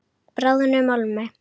Bráðnum málmi.